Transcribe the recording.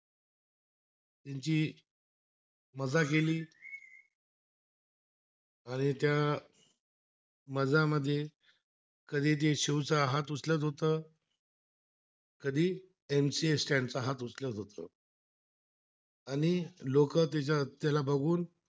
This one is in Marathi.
मधा मध्ये कधी ते शिवचा हात, उचलत होतं कधी MC Stand चा हा दुसरा होत, आणि लोक त्याला बघून